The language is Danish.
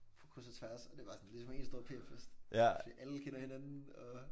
På kryds og tværs og det bare sådan ligesom en stor PF-fest fordi alle kender hinanden og